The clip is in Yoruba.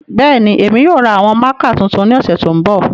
Bẹẹni, Emi yoo ra awọn mạạka tuntun ni ọsẹ to nbọ.